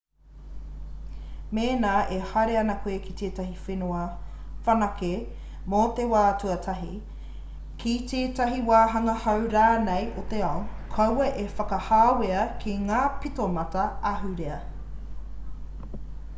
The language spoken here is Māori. mēnā e haere ana koe i tētahi whenua whanake mō te wā tuatahi ki tētahi wāhanga hou rānei o te ao kaua e whakahāwea ki ngā pitomata ahurea